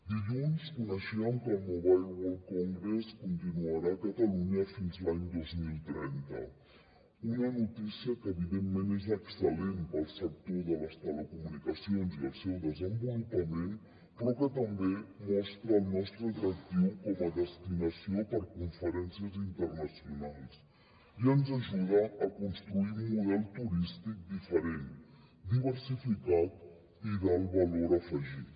dilluns coneixíem que el mobile world congress continuarà a catalunya fins a l’any dos mil trenta una notícia que evidentment és excel·lent pel sector de les telecomunicacions i el seu desenvolupament però que també mostra el nostre atractiu com a destinació per conferències internacionals i ens ajuda a construir un model turístic diferent diversificat i d’alt valor afegit